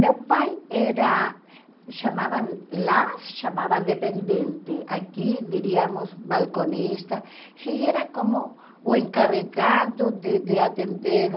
Meu pai era, chamavam lá, se chamava dependente, aqui diríamos balconista, e era como o encarregado de de atender o